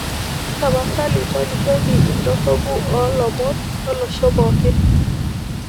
tapasali tolikioki idorropu oo ilomon lolosho pookin